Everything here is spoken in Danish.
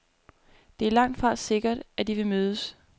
Det er langtfra sikkert, at de vil mødes.